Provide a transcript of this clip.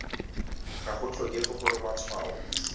ga go tlhokege gore matshwao